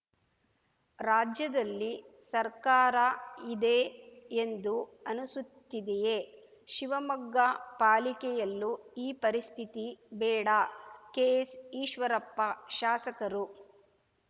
ರಾಜ್ಯದಲ್ಲಿ ಸರ್ಕಾರ ಇದೆ ಎಂದು ಅನುಸುತ್ತಿದೆಯೇ ಶಿವಮೊಗ್ಗ ಪಾಲಿಕೆಯಲ್ಲೂ ಈ ಪರಿಸ್ಥಿತಿ ಬೇಡ ಕೆಎಸ್‌ ಈಶ್ವರಪ್ಪ ಶಾಸಕರು